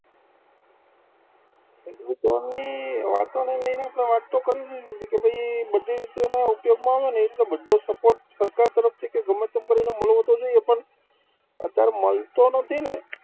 વાતોને લઈને આપણે વાત તો કરવી જોઈએ ને કે ભાઈ, બધી રીતે ઉપયોગમાં આવે ને એવી રીતે બધો support સરકાર તરફથી કે ગમે તેમ કરીને મળવો તો જોઈએ પણ અત્યારે મળતો નથી ને